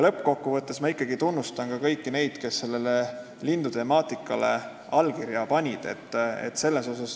Lõppkokkuvõttes ma ikkagi tunnustan ka kõiki neid, kes sellele lindude temaatikaga petitsioonile allkirja andsid.